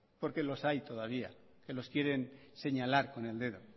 porque los hay todavía que los quieren señalar con el dedo